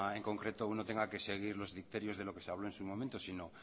en concreto uno tenga que seguir los criterios de lo que se habló en su momento sino